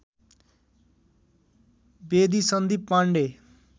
Bedi Sandeep Pandey